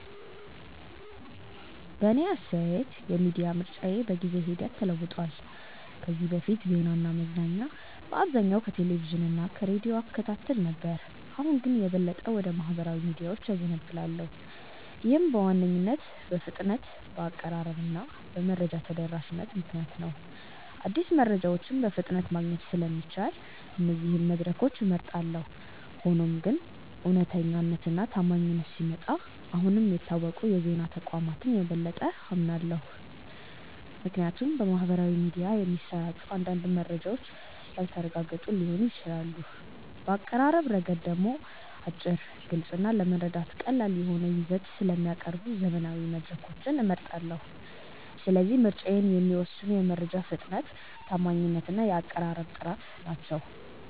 በእኔ አስተያየት የሚዲያ ምርጫዬ በጊዜ ሂደት ተለውጧል። ከዚህ በፊት ዜናና መዝናኛ በአብዛኛው ከቴሌቪዥን እና ከሬዲዮ እከታተል ነበር፣ አሁን ግን የበለጠ ወደ ማኅበራዊ ሚዲያዎች እዘነብላለሁ። ይህም በዋነኝነት በፍጥነት፣ በአቀራረብ እና በመረጃ ተደራሽነት ምክንያት ነው። አዲስ መረጃዎችን በፍጥነት ማግኘት ስለሚቻል እነዚህን መድረኮች እመርጣለሁ። ሆኖም ግን ስለ እውነተኛነት እና ታማኝነት ሲመጣ አሁንም የታወቁ የዜና ተቋማትን የበለጠ አምናለሁ፣ ምክንያቱም በማኅበራዊ ሚዲያ የሚሰራጩ አንዳንድ መረጃዎች ያልተረጋገጡ ሊሆኑ ይችላሉ። በአቀራረብ ረገድ ደግሞ አጭር፣ ግልጽ እና ለመረዳት ቀላል የሆነ ይዘት ስለሚያቀርቡ ዘመናዊ መድረኮችን እመርጣለሁ። ስለዚህ ምርጫዬን የሚወስኑት የመረጃ ፍጥነት፣ ታማኝነት እና የአቀራረብ ጥራት ናቸው።